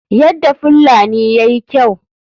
Yadda fullani yayi kyau.